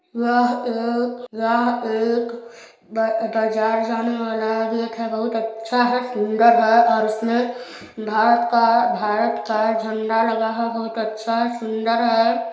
यह एक यह एक बाजार जाने वाला गेट है बहुत अच्छा है सुंदर है और उसमें भारत काभारत का झंडा लगा बहुत अच्छा है सुंदर हैं।